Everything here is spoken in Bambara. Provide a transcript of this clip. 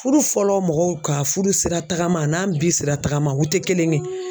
Furu fɔlɔ mɔgɔw ka furusira tagama an n'an bi sira tagama u tɛ kelen ye.